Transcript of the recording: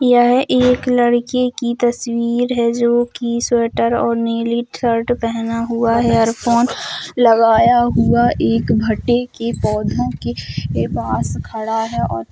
यह एक लड़के की तस्वीर है जो की स्वेटर और नीली शर्ट पहना हुआ है| इयरफोन लगाया हुआ एक भटे के पौधों के पास खड़ा है और --